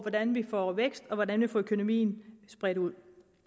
hvordan vi får vækst og hvordan vi får økonomien spredt ud